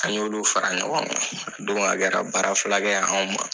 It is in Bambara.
An y'olu fara ɲɔgɔn kan o don a kɛra baara fila kɛ ye anw ma.